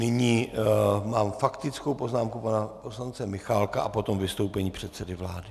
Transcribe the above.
Nyní mám faktickou poznámku pana poslance Michálka a potom vystoupení předsedy vlády.